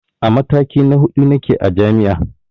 A mataki na huɗu nake a jami'a